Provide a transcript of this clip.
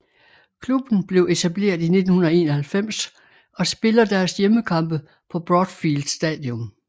Klubben blev etableret i 1991 og spiller deres hjemmekampe på Broadfield Stadium